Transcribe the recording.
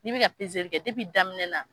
N'i be peezelikɛ depi kɛ daminɛ na